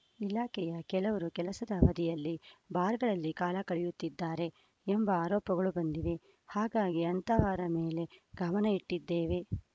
ಇಲಾಖೆಯ ಕೆಲವರು ಕೆಲಸದ ಅವಧಿಯಲ್ಲಿ ಬಾರ್‌ಗಳಲ್ಲಿ ಕಾಲ ಕಳೆಯುತ್ತಿದ್ದಾರೆ ಎಂಬ ಆರೋಪಗಳು ಬಂದಿವೆ ಹಾಗಾಗಿ ಅಂತಹವರ ಮೇಲೆ ಗಮನ ಇಟ್ಟಿದ್ದೇವೆ